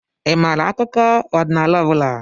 Ị maara akụkọ ọdịnala ọ bụla?